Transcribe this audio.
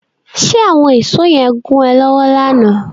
Ṣe àwọn ìsó yẹn gún ẹ lọ́wọ́ lánàá?